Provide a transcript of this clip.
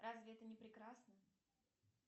разве это не прекрасно